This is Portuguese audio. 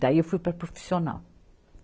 Daí, eu fui para a profissional.